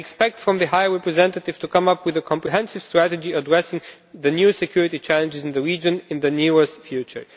I expect the High Representative Vice President to come up with a comprehensive strategy addressing the new security challenges in the region in the near future.